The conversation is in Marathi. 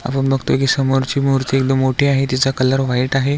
आपण बघतोय की समोर ची मूर्ती एकदम मोठी आहे तिचा कलर व्हाइट आहे.